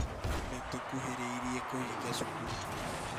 Nĩ tũkuhereriĩ kũhĩnga cukuru